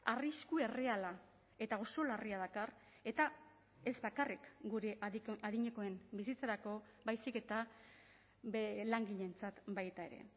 arrisku erreala eta oso larria dakar eta ez bakarrik gure adinekoen bizitzarako baizik eta langileentzat baita ere